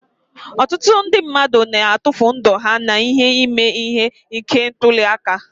Ọtụtụ ndị mmadụ na-atufụ ndụ ha n'ihi ime ihe ike ntuli aka.